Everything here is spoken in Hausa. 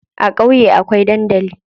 A ƙauye akwai dandali.